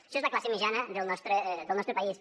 això és la classe mitjana del nostre país